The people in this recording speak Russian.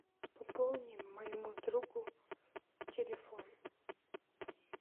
пополни моему другу телефон